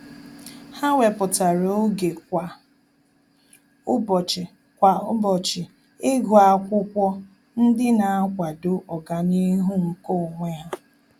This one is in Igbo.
Há wépụ́tara oge kwa ụ́bọ̀chị̀ kwa ụ́bọ̀chị̀ ígụ́ ákwụ́kwọ́ ndị nà-àkwàdò ọ́gànihu nke onwe ha.